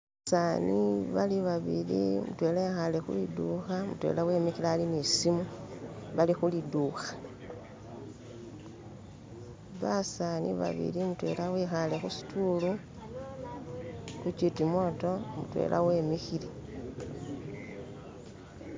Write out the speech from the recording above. Basaani bali babili, mudwera ikaale kwiduuka mudwera imikile ali kusimu, bali ku liduuka baseeza babili mudwera ikaale ku situulu ka'chitimoto mudwera imikile